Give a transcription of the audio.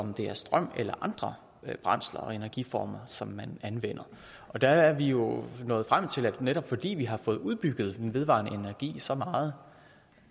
om det er strøm eller andre brændsler og energiformer som man anvender og der er vi jo nået frem til at netop fordi vi har fået udbygget den vedvarende energi så meget